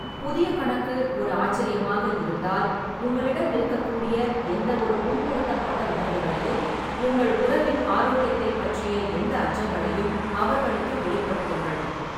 புதிய கணக்கு ஒரு ஆச்சரியமாக இருந்தால், உங்களிடம் இருக்கக்கூடிய எந்தவொரு புண்படுத்தப்பட்ட உணர்வுகளையும், உங்கள் உறவின் ஆரோக்கியத்தைப் பற்றிய எந்த அச்சங்களையும் அவர்களுக்கு வெளிப்படுத்துங்கள்.